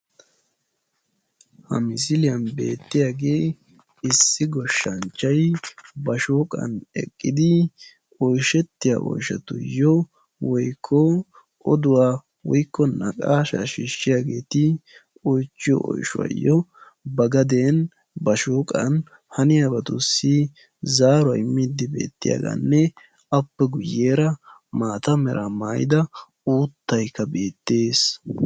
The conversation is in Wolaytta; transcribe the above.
ha misiliyaan beettiyaage issi goshsancchay ba shooqqan ekkidi oyshshatiyaa oyshshatuyyo woykko oduwa woykko naqaasha shiishshiyaageti ba gaden ba shooqqan zaaruwaa immide beettiyaaganne appe guyyeera maata mera maayyida uuttayka beettees.